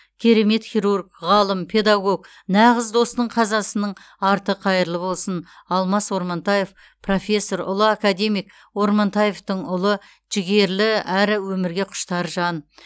керемет хирург ғалым педагог нағыз достың қазасының арты қайырлы болсын алмас ормантаев профессор ұлы академик ормантаевтың ұлы жігерлі әрі өмірге құштар жан